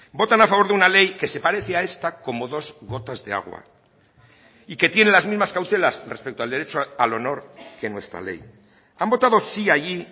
votan a favor de una ley que se parece a esta como dos gotas de agua y que tiene las mismas cautelas respecto al derecho al honor que nuestra ley han votado sí allí